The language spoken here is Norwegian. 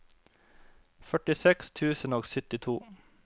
førtiseks tusen og syttito